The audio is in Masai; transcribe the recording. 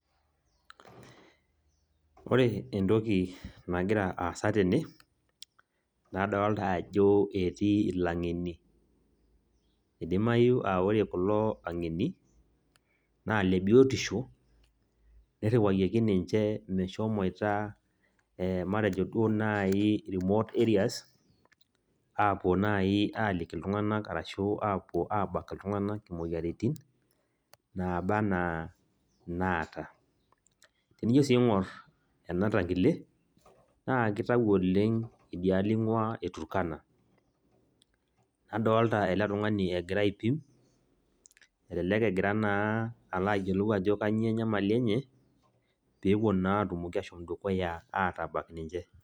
Ore entoki nagira aasa tene, nadolita ajo etii alaing'eni, eidimayu a Kore kulo aing'eni naa Ile biotisho neiruwayioki ninche meshomoita matejo naa duoo naaji remote areas apuo naaji aliki iltung'ana arashu abak iltung'ana imoyaritin, nabaa ana naata. Tinijo sii ing'or ena tangile naa keitayu oleng' naa idialo einguaa e Turkana, nadolita ele tung'ani egira aipim, elelek naa eloito ayiolou naa aji kainyoo enyamali enye, pee epuo naa atilaki ashomo dukuya atabak ninche.